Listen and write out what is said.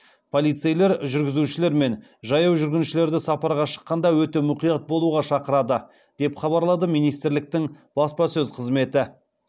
полицейлер жүргізушілер мен жаяу жүргіншілерді сапарға шыққанда өте мұқият болуға шақырады деп хабарлады министрліктің баспасөз қызметі